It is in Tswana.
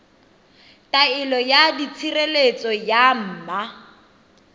taelo ya tshireletso ya ma